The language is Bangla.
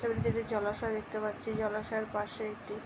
ছবিটিতে জলাশয় দেখতে পাচ্ছি। জলাশয়ের পাশে একটি --